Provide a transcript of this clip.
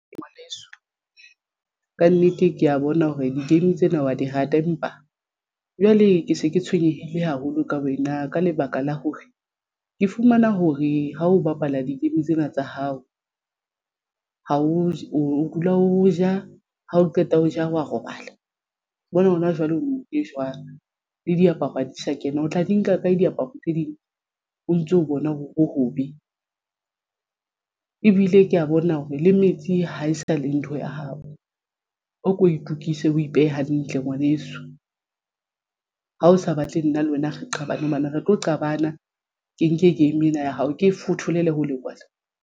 Ngwaneso kannete ke ya bona hore di-game tsena wa di rata empa jwale ke se ke tshwenyehile haholo ka wena ka lebaka la hore ke fumana hore ha ho bapala di-game tsena tsa hao ja o dula o ja ha o qeta ho ja wa robala bona hona jwale o e jwang le diaparo ha di sa kena o tla di nka kae diaparo tse ding o ntso bona hore hobe ebile ke ya bona hore le metsi ha e sa le ntho ya hao. O ko itukise o ipehe hantle ngwaneso ha o sa batle nna le wena re qabane hobane re tlo qabana. Ke nke game ena ya hao ke e fotholele hole kwana.